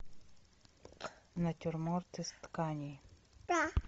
натюрморт из тканей